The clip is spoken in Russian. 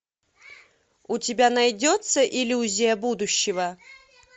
у тебя найдется иллюзия будущего